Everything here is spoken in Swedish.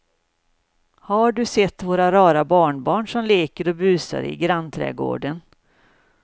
Har du sett våra rara barnbarn som leker och busar ute i grannträdgården!